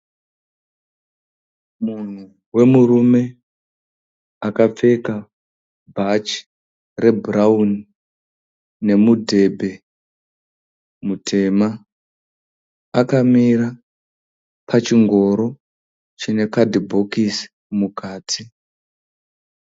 Munhu wemurume akapfeka bhachi rebhurauni nemudhebhe mutema. Akamira pachingoro chine kadhibhokisi mukati.